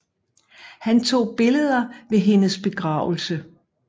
Han tog billeder ved hendes begravelse